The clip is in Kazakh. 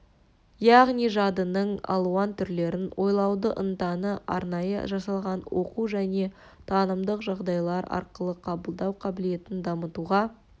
яғни жадының алуан түрлерін ойлауды ынтаны арнайы жасалған оқу және танымдық жағдайлар арқылы қабылдау қабілетін дамытуға